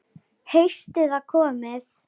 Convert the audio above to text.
Haustið var komið.